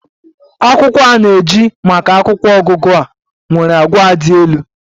Akwụkwọ a na-eji maka akwụkwọ ọgụgụ a nwere àgwà dị elu.